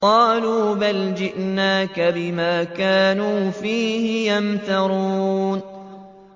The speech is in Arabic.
قَالُوا بَلْ جِئْنَاكَ بِمَا كَانُوا فِيهِ يَمْتَرُونَ